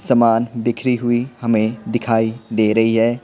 सामान बिखरी हुई हमें दिखाई दे रही है।